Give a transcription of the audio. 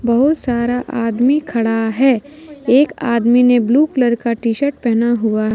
बहुत सारा आदमी खड़ा है एक आदमी ने ब्लू कलर का टी शर्ट पहना हुआ--